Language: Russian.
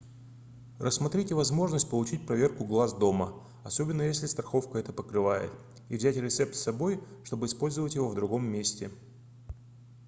рассмотрите возможность получить проверку глаз дома особенно если страховка это покрывает и взять рецепт с собой чтобы использовать его в другом месте